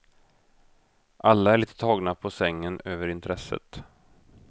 Alla är lite tagna på sängen över intresset.